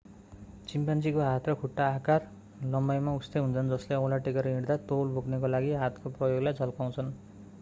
चिम्पान्जीको हात र खुट्टा आकार र लम्बाईमा उस्तै हुन्छन् जसले औँला टेकेर हिँड्दा तौल बोक्नको लागि हातको प्रयोगलाई झल्काउँछन्